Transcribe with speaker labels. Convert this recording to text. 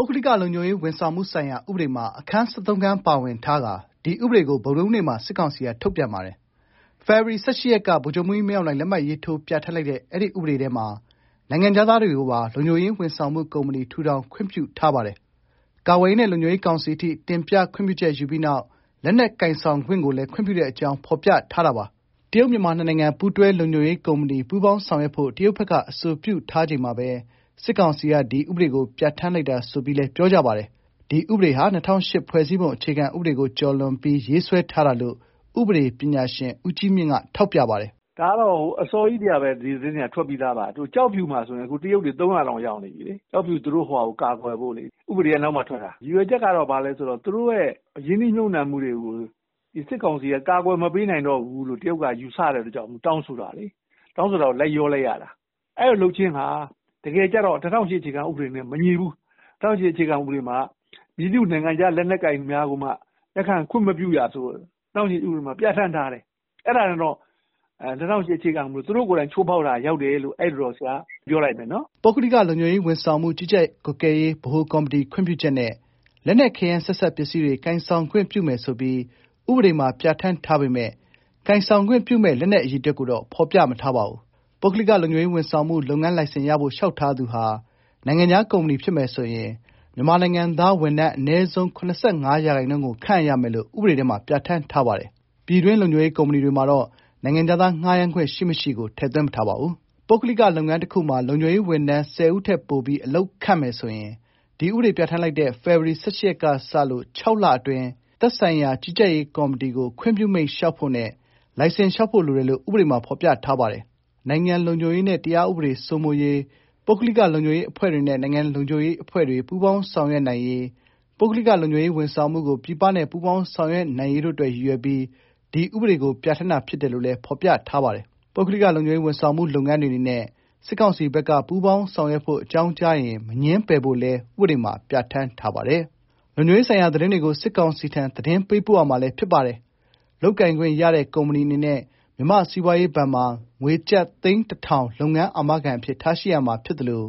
Speaker 1: ုဂ္ဂလိကလုံခြုံရေးဝန်ဆောင်မှုဆိုင်ရာ ဥပဒေမှာ အခန်း(၁၃)ပါဝင်ထားတဲ့ ဒီဥပဒေကို စစ်ကောင်စီက ထုတ်ပြန်ပါတယ်။ ဖေဖော်ဝါရီ ၁၈ ရက်က ဗိုလ်ချုပ်မှူးကြီး မင်းအောင်လှိုင် လက်မှတ်ရေးထိုး ပြဋ္ဌာန်းလိုက်တဲ့ အဲဒီဥပဒေထဲမှာ နိုင်ငံခြားသားတွေကိုပါ လုံခြုံရေးဝန်ဆောင်မှု ကုမ္ပဏီ ထူထောင်ခွင့်ပြုထားပါတယ်။ ကာကွယ်ရေးနဲ့ လုံခြုံရေး ကောင်စီအထိ တင်ပြခွင့်ပြုချက်ယူပြီးနောက် လက်နက် ကိုင်ဆောင်ခွင့်ကိုလည်း ခွင့်ပြုတဲ့ အကြောင်း ဖော်ပြထားပါတယ်။ တရုတ်-မြန်မာ နှစ်နိုင်ငံ ပူးတွဲလုံခြုံရေးကုမ္ပဏီ (Joint Venture Security Company) ပူးပေါင်းဆောင်ရွက်ဖို့ တရုတ်ဘက်က အဆိုပြုထားချိန်မှာဘဲ စစ်ကောင်စီက ဒီဥပဒေကိုပြဌာန်းလိုက်တာ ဆိုပြီးလည်းပြောကြပါတယ်။ ဒီဥပဒေဟာ ၂၀၀၈ ဖွဲ့စည်းပုံ အခြေခံဥပဒေကို ကျော်လွန်ပြီး ရေးဆွဲထားတာလို့ ဥပဒေပညာရှင် ဦးကြီးမြင့်က ထောက်ပြပါတယ်
Speaker 2: ။ "ဒါကတော့အစောကြီးထဲကဒီသတင်းတွေကထွက်ပြီးသား။ ကျောက်ဖြူမှာဆို တရုတ်တွေ ၃၀၀လောက်ရောက်နေပြီလေ။ ကျောက်ဖြူသူတို့ဟာကို ကာကွယ်ဖို့လေ ဥပဒေကပြီးမှထွက်တာ။ ရည်ရွယ်ချက်ကတော့သူတို့ရင်းနှီးမြုပ်နှံမှုတွေကို စစ်ကောင်စီက ကာကွယ်မပေးနိုင်ဘူးလို့တရုတ်ကယူဆလို့ တရုတ်တောင်းဆိုလို့ လိုက်လျောလိုက်တာ။ အဲလိုလုပ်ခြင်းဟာ တကယ်ကျတော့ ၂၀၀၈ဖွဲ့စည်းပုံနဲ့မညီဘူး။ ၂၀၀၈မှာက မည်သည့်နိုင်ငံခြားလက်နက် ကိုင်ကိုမှခွင့်မပြုရလို့ပြဌာန်းထားတယ်။ အဲဒါနဲ့တော့ ၂၀၀၈ ဥပဒေကိုသူတို့ကိုယ်တိုင်ချိုးဖောက်ရာရောက်တယ်လို့ ပြောချင်ပါတယ်။
Speaker 1: " ပုဂ္ဂလိက လုံခြုံရေး ဝန်ဆောင်မှု ကြီးကြပ်ကွပ်ကဲရေး ဗဟိုကော်မတီ ခွင့်ပြုချက်နဲ့ လက်နက်ခဲယမ်း၊ ဆက်စပ် ပစ္စည်းတွေ ကိုင်ဆောင်ခွင့် ပြုမယ်ဆိုပြီး ဥပဒေမှာ ပြဌာန်းထားပေမဲ့ ကိုင်ဆောင်ခွင့်ပြုမယ့် လက်နက် အရေအတွက်ကိုတော့ ဖော်ပြမထားပါဘူး။ ပုဂ္ဂလိက လုံခြုံရေး ဝန်ဆောင်မှု လုပ်ငန်းလိုင်စင်ရဖို့လျှောက်ထားသူဟာ နိုင်ငံခြား ကုမ္ပဏီဖြစ်မယ်ဆိုရင် မြန်မာနိုင်ငံသားဝန်ထမ်း အနည်းဆုံး ၇၅ ရာခိုင်နှုန်း ကိုခန့်အပ်ရမယ်လို့ ဥပဒေထဲ ပြဋ္ဌာန်းထားပါတယ်။ ပြည်တွင်း လုံခြုံရေး ကုမ္ပဏီတွေမှာတော့ နိုင်ငံခြားသား ငှားယမ်းခွင့် ရှိမရှိကိုတော့ ထည့်သွင်းမထားပါဘူး။ ပုဂ္ဂလိက လုပ်ငန်းတစ်ခုမှာလုံခြုံရေးဝန်ထမ်း ၁၀ ဦးထက်ပိုပြီး အလုပ်ခန့်မယ်ဆိုရင် ဖေဖော်ဝါရီ ၁၈ ရက်ကစလို့ ၆ လအတွင်း သက်ဆိုင်ရာကြီးကြပ်ရေးကော်မတီကို ခွင့်ပြုမိန့်လျှောက်ဖို့နဲ့ လိုင်စင်လျှောက်ဖို့လိုတယ်လို့ ဥပဒေမှာ ဖော်ပြထားပါတယ်။ နိုင်ငံလုံခြုံရေးနဲ့ တရားဥပဒေ စိုးမိုးရေး၊ ပုဂ္ဂလိက လုံခြုံရေး အဖွဲ့တွေနဲ့ နိုင်ငံလုံခြုံရေး အဖွဲ့တွေ ပူးပေါင်းဆောင်ရွက်နိုင်ရေး၊ ပုဂ္ဂလိက လုံခြုံရေး ဝန်ဆောင်မှုကို ပြည်ပနဲ့ ပူးပေါင်းဆောင်ရွက်နိုင်ရေးတို့ အတွက် ရည်ရွယ်ပြီး ဒီဥပဒေကို ပြဌာန်းတာ ဖြစ်တယ်လို့လည်း ဖော်ပြပါတယ်။ ပုဂ္ဂလိက လုံခြုံရေး ဝန်ဆောင်မှု လုပ်ငန်းတွေ အနေနဲ့ စစ်ကောင်စီဘက်က ပူးပေါင်းဆောင်ရွက်ဖို့ အကြောင်းကြားရင် မငြင်းပယ်ဖို့လည်း ဥပဒေမှာ ပြဌာန်းထားပါတယ်။ လုံခြုံရေး ဆိုင်ရာ သတင်းတွေကို စစ်ကောင်စီထံ သတင်းပေးပို့ရမှာလည်း ဖြစ်ပါတယ်။ လုပ်ကိုင်ခွင့် ရတဲ့ ကုမ္ပဏီတွေ အနေနဲ့ မြန်မာ့ စီးပွားရေးဘဏ်မှာ ငွေကျပ် သိန်း ၁၀၀၀ လုပ်ငန်း အာမခံ အဖြစ်ထားရှိရမှာ ဖြစ်သလို